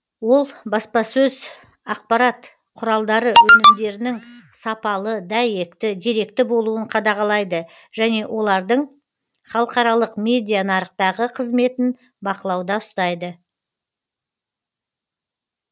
ол баспасөз ақпарат құралдары өнімдерінің сапалы дәйекті деректі болуын қадағалайды және олардың халықаралық медианарықтағы қызметін бақылауда ұстайды